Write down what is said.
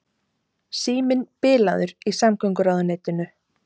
Síminn bilaður í samgönguráðuneytinu